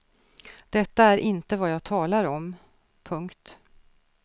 Detta är inte vad jag talar om. punkt